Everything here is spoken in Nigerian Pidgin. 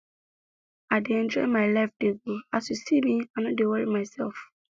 i dey enjoy my life dey go as you see me i no dey worry myself